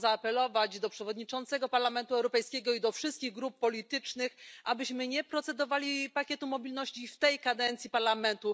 Chciałam zaapelować do przewodniczącego Parlamentu Europejskiego i do wszystkich grup politycznych, abyśmy nie głosowali nad pakietem mobilności w tej kadencji Parlamentu.